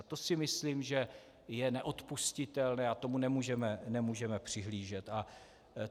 A to si myslím, že je neodpustitelné, a tomu nemůžeme přihlížet.